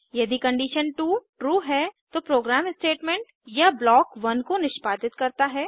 यदि condition 2 true है तो प्रोग्राम स्टेटमेंट या ब्लॉक 1 को निष्पादित करता है